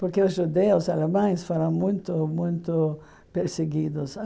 Porque os judeus alemães foram muito, muito perseguidos.